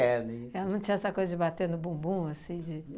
isso. Ela não tinha essa coisa de bater no bumbum, assim, de?